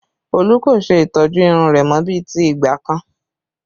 Olú kò ṣe ìtọ́jú irun rẹ mọ bí ti ìgbà kan